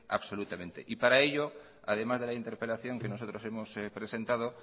absolutamente para ello además de la interpelación que nosotros hemos presentado